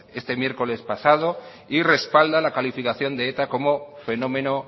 este miércoles pasado y respalda la calificación de eta como fenómeno